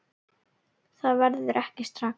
Það verður ekki strax